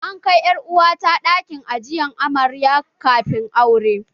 An kai ƴar uwa ta ɗakin ajiye amarya kafin aure